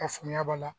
Ka faamuya b'a la